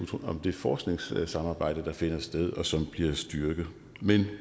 om det forskningssamarbejde der finder sted og som bliver styrket men